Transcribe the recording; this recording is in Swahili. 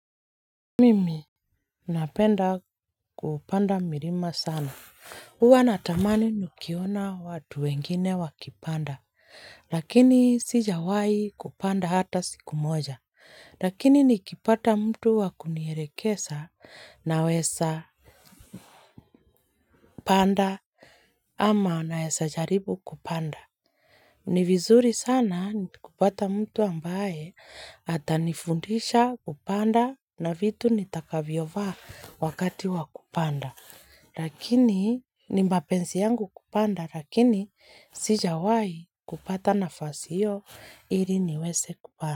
Mimi, napenda kupanda mirima sana. Uwa natamani nukiona watu wengine wakipanda, lakini sijawai kupanda hata siku moja. Lakini nikipata mtu wakunierekesa nawesa panda ama naesa jaribu kupanda. Ni vizuri sana nikipata mtu ambaye atanifundisha kupanda na vitu nitakavyo vaa wakati wa kupanda. Lakini, ni mbapensi yangu kupanda, lakini sijawai kupata nafasi hio ili niwese kupanda.